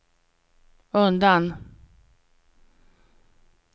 undan